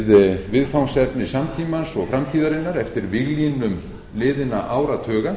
við viðfangsefni samtímans og framtíðarinnar eftir víglínum liðinna áratuga